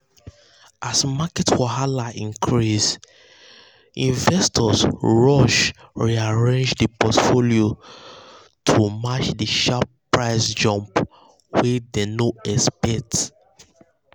um um as market wahala increase investors rush rearrange their portfolio to um match the sharp um price jump wey dem no expect.